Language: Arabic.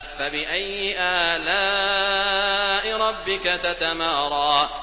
فَبِأَيِّ آلَاءِ رَبِّكَ تَتَمَارَىٰ